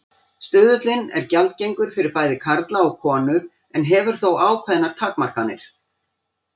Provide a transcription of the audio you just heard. Stuðullinn er gjaldgengur fyrir bæði karla og konur en hefur þó ákveðnar takmarkanir.